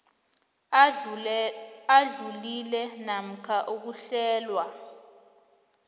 adlulile namkha ukuhlelwa